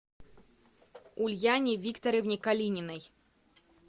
ульяне викторовне калининой